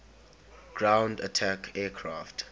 ground attack aircraft